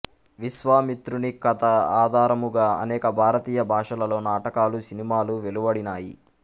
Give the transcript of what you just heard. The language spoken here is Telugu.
విశ్వామిత్రుని కథ ఆధారముగా అనేక భారతీయ భాషలలో నాటకాలు సినిమాలు వెలువడినాయి